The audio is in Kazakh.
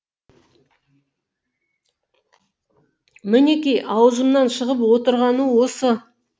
мінеки аузымнан шығып отырғаны осы